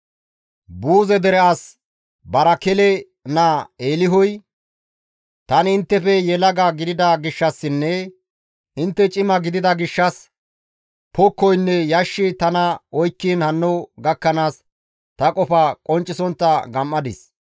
Buuze dere as Barakele naa Eelihuy, «Tani inttefe yelaga gidida gishshassinne intte cima gidida gishshas pokkoynne yashshi tana oykkiin hanno gakkanaas ta qofa qonccisontta gam7adis.